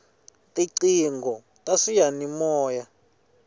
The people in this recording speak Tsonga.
tiqingho ta swiyani moya